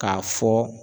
K'a fɔ